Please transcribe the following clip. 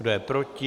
Kdo je proti?